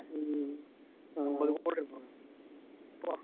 ஆஹ்